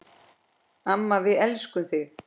Amma, við elskum þig.